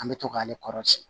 An bɛ to k'ale kɔrɔsi